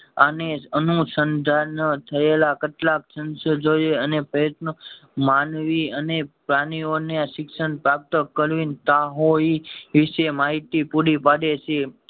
અને અનુશન્ધાન થયેલા કેટલાય સંશોધએ અને પ્રયત્ન માનવી અને પ્રાણી ઓને શિક્ષણ પ્રાપ્ત કરી વિષે માહિતી પુરી પડે છે